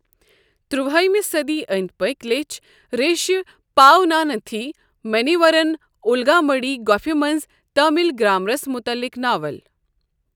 تُرٛوٲیمہِ صٔدی أنٛدۍ پٔکۍ، لیٚچھ ریشہِ پاونانتھی منیورَن اُلگامڈھی گۄپھ منٛز تامل گرٛامرس مُتعلق ناول۔